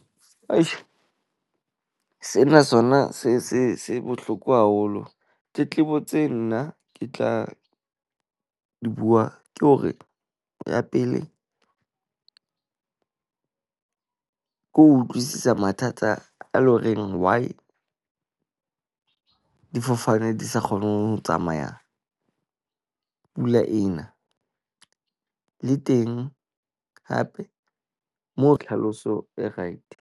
Fashion sena sona se se se bohloko haholo. Tletlebo tse nna ke tla di bua ke hore ya pele. Ke ho utlwisisa mathata a loreng why difofane di sa kgone ho tsamaya pula e na. Le teng hape moo tlhaloso e right.